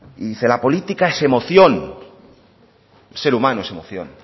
y dice la política es emoción el ser humano es emoción